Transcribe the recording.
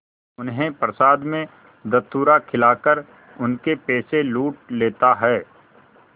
उन्हें प्रसाद में धतूरा खिलाकर उनके पैसे लूट लेता है